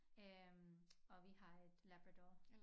Øh og vi har et labrador